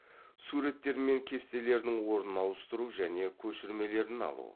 суреттер мен кестелердің орнын ауыстыру және көшірмелерін алу